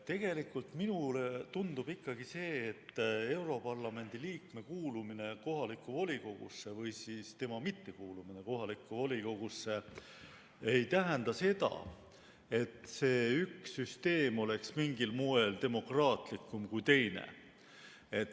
Tegelikult minule tundub ikkagi, et europarlamendi liikme kuulumine kohalikku volikogusse või siis tema mittekuulumine kohalikku volikogusse ei tähenda seda, et üks süsteem oleks mingil moel demokraatlikum kui teine.